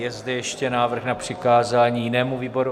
Je zde ještě návrh na přikázání jinému výboru?